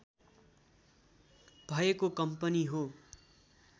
भएको कम्पनी हो